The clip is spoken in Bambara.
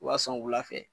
U b'a sɔn wula fɛ